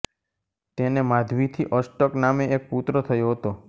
તેને માધવીથી અષ્ટક નામે એક પુત્ર થયો હતો